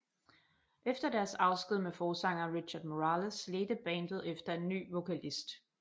Efter deres afsked med forsangeren Richard Morales ledte bandet efter en ny vokalist